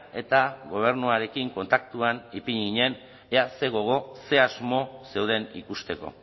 eta gobernuarekin kontaktuan ipini ginen ea zer gogo ze asmo zeuden ikusteko